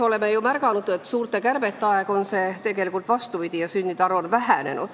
Oleme ju märganud, et suurte kärbete aegu on vastupidi ja sündide arv väheneb.